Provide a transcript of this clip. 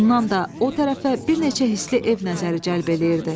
Bundan da o tərəfə bir neçə hisli ev nəzəri cəlb eləyirdi.